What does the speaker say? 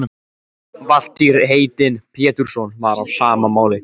Valtýr heitinn Pétursson var á sama máli.